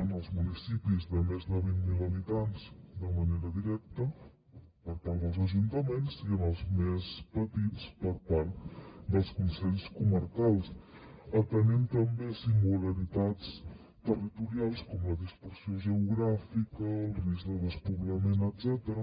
en els municipis de més de vint mil habitants de manera directa per part dels ajuntaments i en els més petits per part dels consells comarcals atenent també singularitats territorials com la dispersió geogràfica el risc de despoblament etcètera